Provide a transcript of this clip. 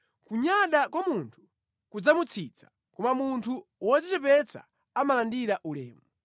Kunyada kwa munthu kudzamutsitsa, koma munthu wodzichepetsa amalandira ulemu.